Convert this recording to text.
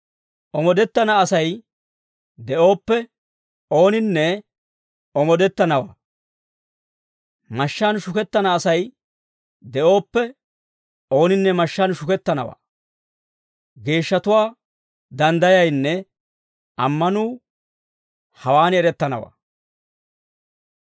Omoodettana Asay de'ooppe, ooninne omoodettanawaa. Mashshaan shukettana Asay de'ooppe, ooninne mashshaan shukettanawaa. Geeshshatuwaa danddayaynne, ammanuu hawaan erettanawaa.